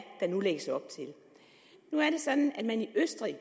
der nu lægges op til nu er det sådan at man i østrig